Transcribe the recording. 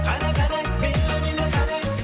қане қане биле биле қане